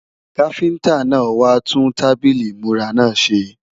Káfíntá náà wá tún tábìlì ìmúra náà ṣe